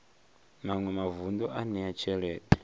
maṅwe mavun ḓu a ṋea tshelede